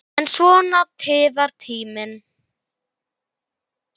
En svona tifar tíminn.